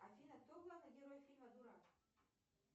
афина кто главный герой фильма дурак